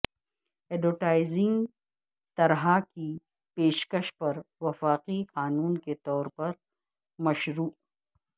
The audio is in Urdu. ایڈورٹائزنگ طرح کی پیشکش پر وفاقی قانون کے طور پر مشروع